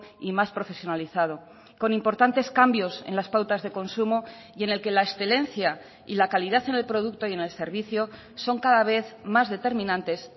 y más profesionalizado con importantes cambios en las pautas de consumo y en el que la excelencia y la calidad en el producto y en el servicio son cada vez más determinantes